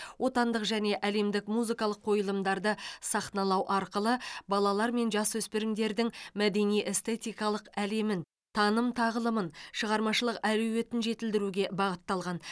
отандық және әлемдік музыкалық қойылымдарды сахналау арқылы балалар мен жасөспірімдердің мәдени эстетикалық әлемін таным тағылымын шығармашылық әлеуетін жетілдіруге бағытталған